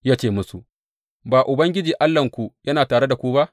Ya ce musu, Ba Ubangiji Allahnku yana tare da ku ba?